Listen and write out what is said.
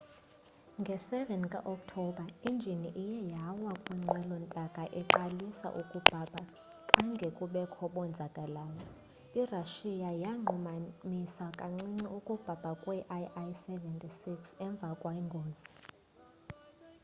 nge 7 ka okthobha injini iye yawa xa inqwelo ntaka iqalisa ukubhabha khange kubekho bonzakaleyo. irussia yanqumamisa kancinci ukubhabha kwee-il-76s emva kwengozi